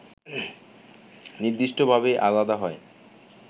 নির্দিষ্টভাবেই আলাদা হয়